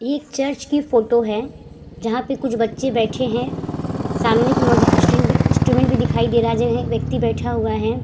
ये एक चर्च की फ़ोटो है जहां पे कुछ बच्चे बैठे है। सामने की मुझे इंस्ट्रूमेंट भी दिखाई दे रहा है जिन्हें व्यक्ति बैठा हुआ है।